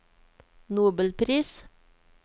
nobelpris